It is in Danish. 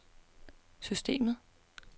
systemet